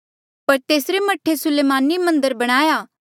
पर तेसरे मह्ठे सुलेमाने रे कठे मन्दर बणाया